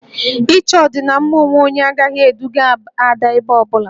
Ị chọ ọdịmma onwe onye agaghị eduga Ada ebe ọ bụla